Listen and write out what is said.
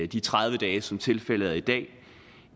de tredive dage som tilfældet er i dag